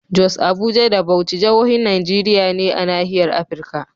Jos, Abuja da Bauchi jahohin Najeriya ne a nahiyar Afirka.